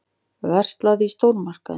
Verslað í stórmarkaði.